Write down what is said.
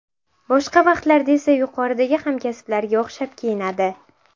Boshqa vaqtlarda esa yuqoridagi hamkasblariga o‘xshab kiyinadi.